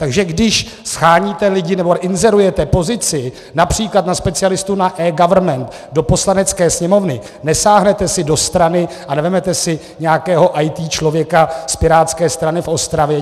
Takže když sháníte lidi nebo inzerujete pozici, například na specialistu na eGovernment do Poslanecké sněmovny, nesáhnete si do strany a nevezmete si nějakého IT člověka z pirátské strany v Ostravě.